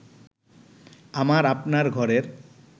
আমার আপনার ঘরের